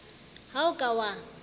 ha o a ka wa